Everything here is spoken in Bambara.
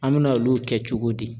An mina olu kɛ cogo di?